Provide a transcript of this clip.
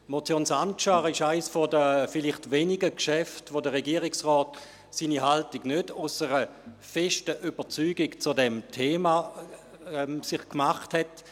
Die Motion Sancar ist eines der vielleicht wenigen Geschäfte, zu welchen der Regierungsrat nicht aus einer festen Überzeugung zu diesem Thema zu seiner Haltung gekommen ist;